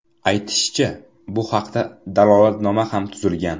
Aytishicha, bu haqda dalolatnoma ham tuzilgan.